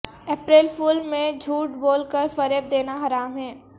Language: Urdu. اپریل فول میں جھوٹ بول کر فریب دینا حرام ہے